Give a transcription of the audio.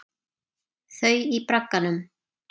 Þau í bragganum.